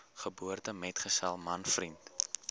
geboortemetgesel man vriend